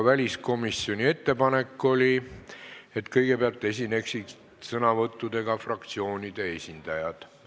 Väliskomisjoni ettepanek oli, et kõigepealt võtaksid sõna fraktsioonide esindajad.